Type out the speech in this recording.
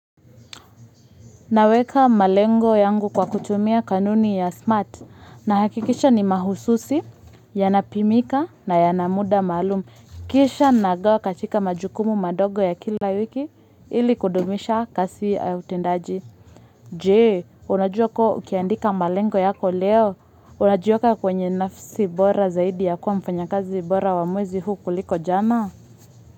Naweka malengo yangu kwa kutumia kanuni ya SMART nahakikisha ni mahususi, yanapimika na yana muda maalumu. Kisha nagawa katika majukumu madogo ya kila wiki ili kudumisha kasi ya utendaji. Je, unajua kuwa ukiandika malengo yako leo? Unajiwka kwenye nafasi bora zaidi ya kuwa mfanyakazi bora wa mwezi huu kuliko jana?